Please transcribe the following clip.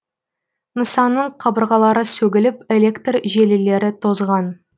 нысанның қабырғалары сөгіліп электр желілері тозған